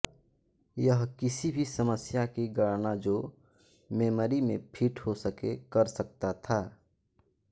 यह किसी भी समस्या की गणना जो मेमरी में फिट हो सके कर सकता था